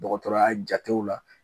Dɔgɔtɔrɔya jatew la.